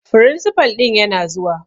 Firinsifal ɗin yana zuwa.